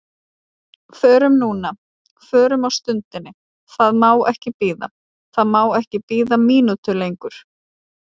Förum núna, förum á stundinni, það má ekki bíða, það má ekki bíða mínútu lengur.